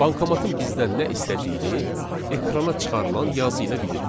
Bankomatın bizdən nə istədiyini ekrana çıxarılan yazı ilə bilirik.